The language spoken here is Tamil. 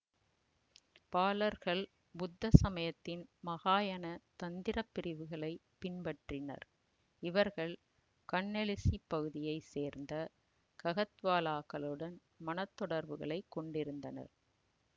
பாலர்கள் புத்த சமயத்தின் மஹாயன தந்திரப் பிரிவுகளைப் பின்பற்றினர் இவர்கள் கன்னௌசி பகுதியை சேர்ந்த ககத்வாலாக்களுடன் மணத் தொடர்புகளை கொண்டிருந்தனர்